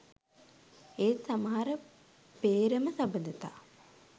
ඒත් සමහර පේ්‍රම සබඳතා